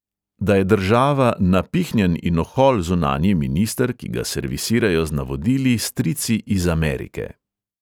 Da je država napihnjen in ohol zunanji minister, ki ga servisirajo z navodili strici iz amerike.